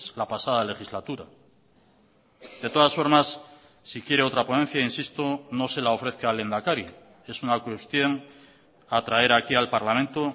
la pasada legislatura de todas formas si quiere otra ponencia insisto no se la ofrezca al lehendakari es una cuestión a traer aquí al parlamento